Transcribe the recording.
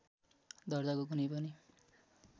दर्जाको कुनै पनि